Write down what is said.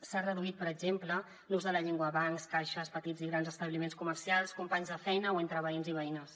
s’ha reduït per exemple l’ús de la llengua a bancs caixes petits i grans establiments comercials companys de feina o entre veïns i veïnes